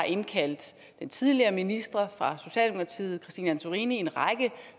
indkaldte den tidligere minister fra socialdemokratiet christine antorini i en række